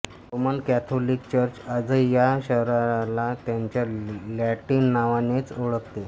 Roman Catholic church आजही या शहराला त्याच्या लॅटिन नावानेच ओळखते